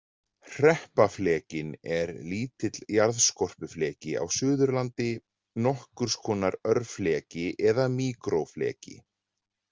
Hreppaflekinn er lítill jarðskorpufleki á Suðurlandi, nokkurs konar örfleki eða míkrófleki.